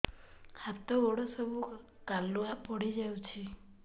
ହାତ ଗୋଡ ସବୁ କାଲୁଆ ପଡି ଯାଉଛି